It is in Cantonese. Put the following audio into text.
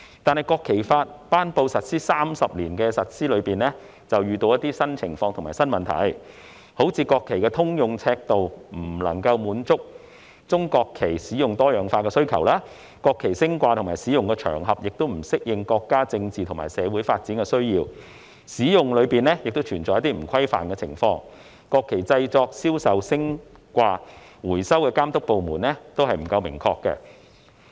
然而，在實施《國旗法》的30年間，遇到一些新情況和新問題，例如國旗的通用尺度未能滿足中國國旗多樣化使用的需求；國旗升掛和使用的場合已不適應國家政治和社會發展的需要；就國旗的使用，存在一些欠缺規範的情況；及負責國旗製作、銷售、升掛丶回收的監督管理部門不明確等。